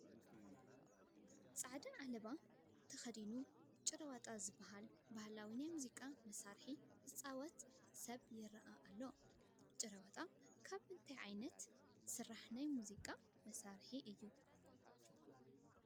ፃዕዳ ዓለባ ተኸዲኑ ጭራወጣ ዝበሃል ባህላዊ ናይ ሙዚቃ መሳርሒ ዝፃወት ሰብ ይርአ ኣሎ፡፡ ጭራወጣ ካብ ምንታይ ዝስራሕ ናይ ሙዚቃ መሳርሒ እዩ?